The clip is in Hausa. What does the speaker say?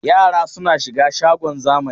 Yara suna shiga shagon zamani.